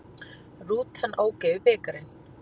Rútan ók yfir bikarinn